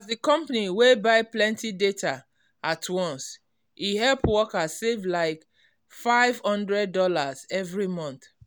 as the company wey buy plenty data at once e help workers save like five hundred dollar every month.